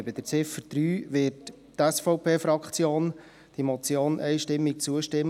Bei Ziffer 3 wird die SVP-Fraktion der Motion einstimmig zustimmen.